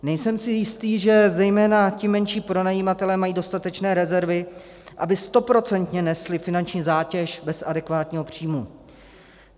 Nejsem si jistý, že zejména ti menší pronajímatelé mají dostatečné rezervy, aby stoprocentně nesli finanční zátěž bez adekvátního příjmu.